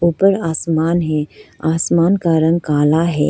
ऊपर आसमान है आसमान का रंग काला है।